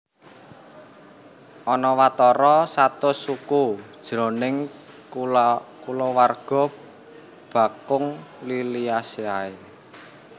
Ana watara satus suku jroning kulawarga bakung Liliaceae